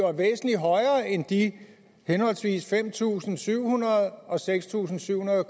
er væsentlig højere end de henholdsvis fem tusind syv hundrede kroner og seks tusind syv hundrede